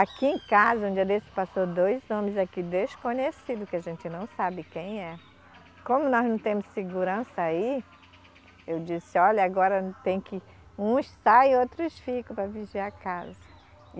Aqui em casa, um dia desses, passou dois homens aqui desconhecidos, que a gente não sabe quem é. Como nós não temos segurança aí, eu disse, olha, agora tem que uns saem, outros ficam para vigiar a casa.